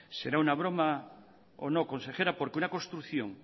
será una broma o no consejera porque una construcción